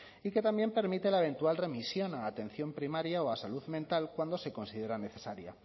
y que también permite la eventual remisión a la atención primaria o a salud mental cuando se considera necesaria